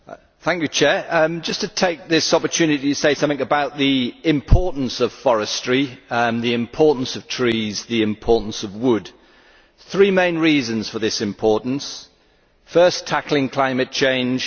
Mr President, I would just like to take this opportunity to say something about the importance of forestry and the importance of trees, the importance of wood. There are three main reasons for this importance first, tackling climate change